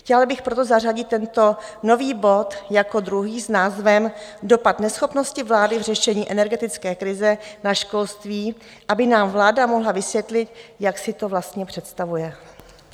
Chtěla bych proto zařadit tento nový bod jako druhý s názvem Dopad neschopnosti vlády v řešení energetické krize na školství, aby nám vláda mohla vysvětlit, jak si to vlastně představuje.